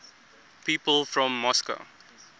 people from moscow